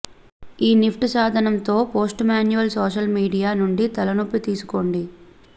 ఈ నిఫ్టీ సాధనంతో post manual social media నుండి తలనొప్పి తీసుకోండి